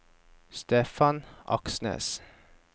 Stefan Aksnes